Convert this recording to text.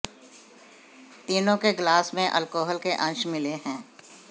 तीनों के ग्लास में अल्कोहल के अंश मिले है